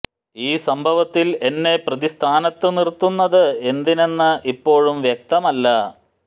ഈ സംഭവത്തിൽ എന്നെ പ്രതി സ്ഥാനത്ത് നിർത്തുന്നത് എന്തിനെന്ന് ഇപ്പോഴും വ്യക്തമല്ല